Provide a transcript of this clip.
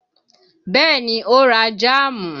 Bẹ́ẹ̀ ni ó ra jáàmù